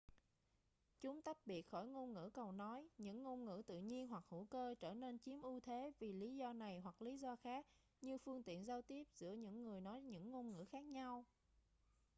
chúng tách biệt khỏi ngôn ngữ cầu nối những ngôn ngữ tự nhiên hoặc hữu cơ trở nên chiếm ưu thế vì lý do này hoặc lý do khác như phương tiện giao tiếp giữa những người nói những ngôn ngữ khác nhau